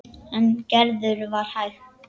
En Gerður var hæg.